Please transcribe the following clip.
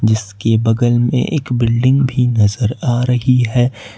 जिसके बगल में एक बिल्डिंग भी नजर आ रही है।